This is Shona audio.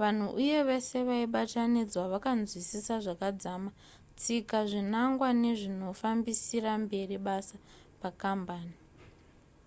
vanhu uye vese vaibatanidzwa vakanzwisisa zvakadzama tsika zvinangwa nezvinofambisira mberi basa pakambani